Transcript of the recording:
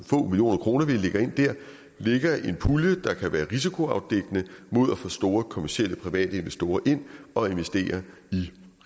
få millioner kroner vi lægger ind dér lægger en pulje der kan være risikoafdækkende mod at få store kommercielle private investorer ind og investere i